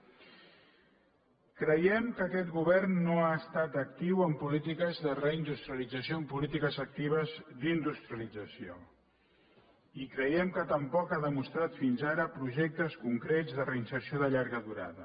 creiem que aquest govern no ha estat actiu en políti·ques de reindustrialització en polítiques actives d’in·dustrialització i creiem que tampoc ha demostrat fins ara projectes concrets de reinserció de llarga durada